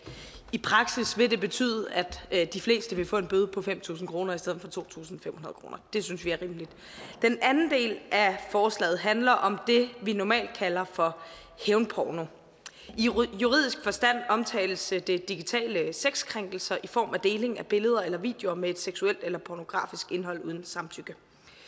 i praksis vil det betyde at de fleste vil få en bøde på fem tusind kroner i stedet for to tusind fem hundrede og det synes vi er rimeligt den anden del af forslaget handler om det vi normalt kalder for hævnporno i juridisk forstand omtales det digitale sexkrænkelser i form af deling af billeder eller videoer med et seksuelt eller pornografisk indhold uden samtykke